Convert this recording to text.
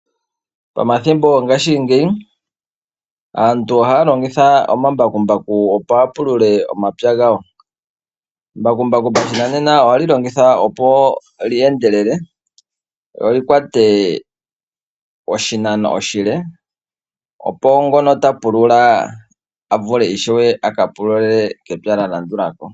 Momathimbo gongashingeyi aantu ohaa longitha omambakumbaku opo ya pulule omapya gawo mbakumbaku monena ohali longithwa opo li endelele lo likwate oshinanqno oshile opo ngono ta pulula a vule ishewe aka pulule kepya lya landulako.